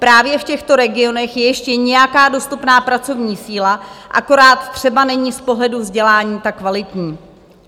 Právě v těchto regionech je ještě nějaká dostupná pracovní síla, akorát třeba není z pohledu vzdělání ta kvalitní.